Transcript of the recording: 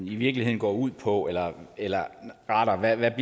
i virkeligheden går ud på eller eller rettere hvad